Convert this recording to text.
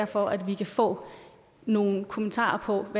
for at vi kan få nogle kommentarer om